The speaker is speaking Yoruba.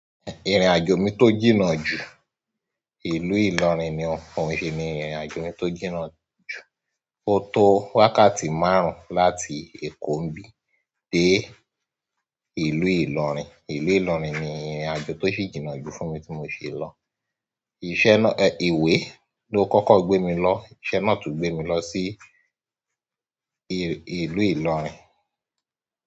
Ìrìnàjò mi tó jìnnà jù, ìlú ìlọrin ni o, òun ṣi ni ìrìnàjò mi tó jìnnà jù. Ó tó wákàtí márùn-ún láti Èkó n bí dé ìlú ìlọrin. Ìlú ìlọrin ni ìrìnàjò tó sì jìnnà jù fún mi tí mo ṣe lọ. Ìṣẹ́ náà, ẹ, ìwé ló kọ́kọ́ gbé mi lọ, ìṣẹ́ náà tún gbé mi lọ sí ìlú ìlọrin.